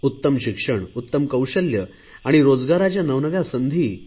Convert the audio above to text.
उत्तम शिक्षण उत्तम कौशल्य आणि रोजगाराच्या नवनव्या संधी